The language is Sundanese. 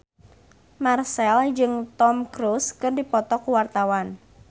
Marchell jeung Tom Cruise keur dipoto ku wartawan